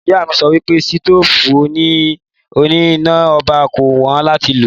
Ìyá mi sọ wípé sitofu òní iná ọba kò wón làtí lo